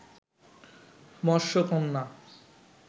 মৎস কন্যা